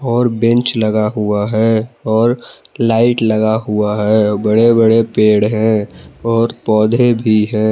और बेंच लगा हुआ है और लाइट लगा हुआ है बड़े बड़े पेड़ है और पौधे भी हैं।